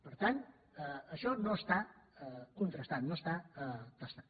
per tant això no està contrastat no està testat